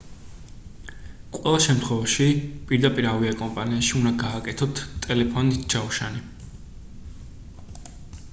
ყველა შემთხვევაში პირდაპირ ავიაკომპანიაში უნდა გააკეთოთ ტელეფონით ჯავშანი